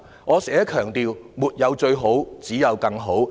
我經常強調："沒有最好，只有更好"。